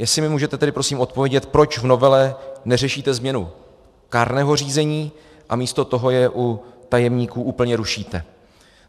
Jestli mi můžete tedy prosím odpovědět, proč v novele neřešíte změnu kárného řízení a místo toho je u tajemníků úplně rušíte.